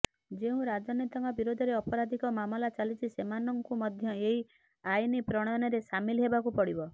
ଯେଉଁ ରାଜନେତାଙ୍କ ବିରୋଧରେ ଆପରାଧିକ ମାମଲା ଚାଲିଛି ସେମାନଙ୍କୁ ମଧ୍ୟ ଏହି ଆଇନ ପ୍ରଣୟନରେ ସାମିଲ୍ ହେବାକୁ ପଡ଼ିବ